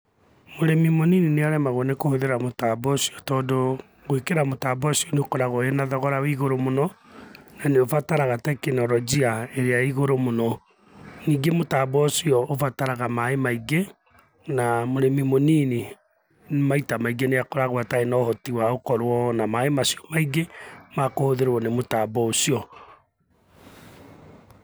Mũrĩmi mũnini nĩ aremagwo nĩ kũhũthĩra mũtambo ũcio tondũ gwĩkĩra mũtambo ũcio nĩ ũkoragwo wĩna thogora wĩ igũrũ mũno na nĩ ũbataraga teknolojia ĩrĩa ĩ igũrũ mũno. Ningĩ mũtambo ũcio ũbataraga maaĩ maingĩ na mũrĩmi mũnini maita maingĩ nĩ akoragwo atarĩ na ũhoti wa gũkorwo na maaĩ macio maingĩ ma kũhũthĩrwo nĩ mũtambo ũcio.